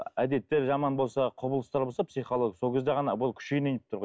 әдеттер жаман болса құбылыстар болса психологиялық сол кезде ғана бұл күшіне енейін деп тұр ғой